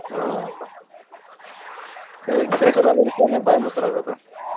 ಹ್ಮ್ ಕೈ ಕೆಸರಾದರೆ ತಾನೆ ಬಾಯಿ ಮೊಸರಾಗೋದು?